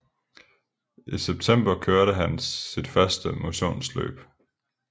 I september kørte han sit første motionsløb